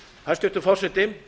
hæstvirtur forseti